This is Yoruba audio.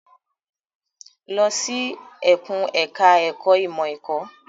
Lọ sí ẹkùn ẹ̀ka ẹ̀kó ìmọ̀ ẹ̀kọ́.